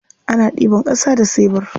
Ana ɗiban ƙasa da sebur.